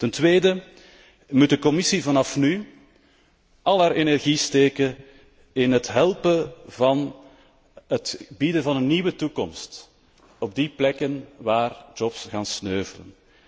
Ten tweede moet de Commissie vanaf nu al haar energie steken in het helpen bieden van een nieuwe toekomst op die plekken waar jobs gaan sneuvelen.